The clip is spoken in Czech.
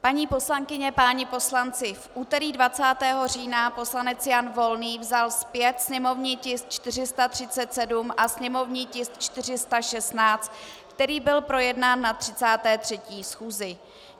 Paní poslankyně, páni poslanci, v úterý 20. října poslanec Jan Volný vzal zpět sněmovní tisk 437 a sněmovní tisk 416, který byl projednán na 33. schůzi.